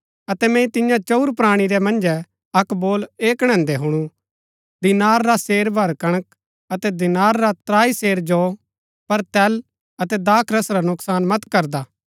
अतै मैंई तियां चंऊर प्राणी रै मन्जै अक्क बोल ऐह कणैदैं हुणु दीनार रा सेर भर कणक अतै दीनार रा त्राई सेर जौ पर तेल अतै दाखरस रा नूकसान मत करना